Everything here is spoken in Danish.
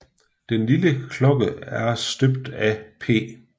Den lille klokke er støbt af P